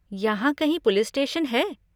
यहाँ कहीं police station है?